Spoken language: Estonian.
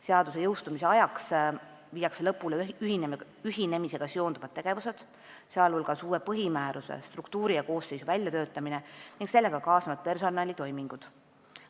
Seaduse jõustumise ajaks viiakse lõpule ühinemisega seonduvad tegevused, sh uue põhimääruse, struktuuri ja koosseisu väljatöötamine ning sellega kaasnevad personalitoimingud.